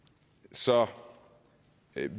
så